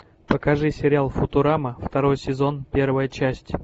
покажи сериал футурама второй сезон первая часть